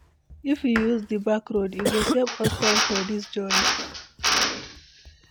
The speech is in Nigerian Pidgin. If we use di back road, e go save us time for this journey.